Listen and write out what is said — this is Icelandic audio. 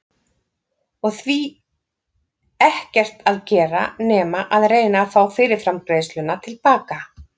Og því ekkert að gera nema að reyna að fá fyrirframgreiðsluna til baka.